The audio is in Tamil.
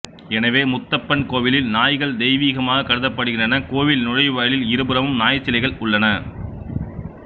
எனவே முத்தப்பன் கோவிலில் நாய்கள் தெய்வீகமாகக் கருதப்படுகின்றன கோவில் நுழைவாயிலில் இருபுறமும் நாய் சிலைகள் உள்ளன